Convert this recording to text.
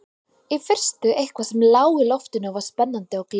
Í fyrstu eitthvað sem lá í loftinu og var spennandi og gleðilegt.